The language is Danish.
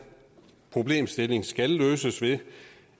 problemstilling skal løses ved